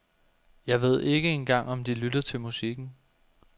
Jeg ved ikke engang om de lytter til musikken.